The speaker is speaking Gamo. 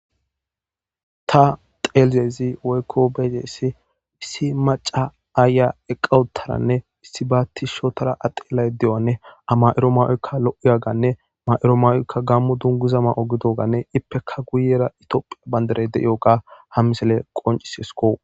Ta xeelzezi woykko beeyidaessi issi maca aaya eqawuttaranne issi baatis shotara adeelay de'anne ama'iro ma'oykka lo'oyaganne ma'iro mawoykka gammu dunguzama'o gidoganne ippeka guyera itiophiya banderey de7ioga ham misele qoncisesko.